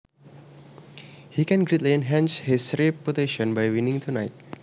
He can greatly enhance his reputation by winning tonight